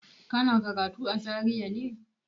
Kana karatu a Zaria ne?